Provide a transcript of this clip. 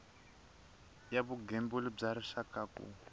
ya vugembuli bya rixaka ku